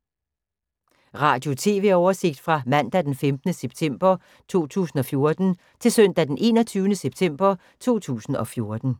Radio/TV oversigt fra mandag d. 15. september 2014 til søndag d. 21. september 2014